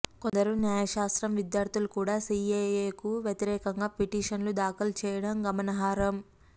కొందరు న్యాయశాస్త్రం విద్యార్థులు కూడా సీఏఏకు వ్యతిరేకంగా పిటిషన్లు దాఖలు చేయటం గమనార్హం